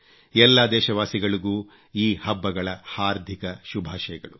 ಎಲ್ಲಾ ದೇಶವಾಸಿಗಳಿಗೂ ಈ ಹಬ್ಬಗಳ ಹಾರ್ದಿಕ ಶುಭಾಶಯಗಳು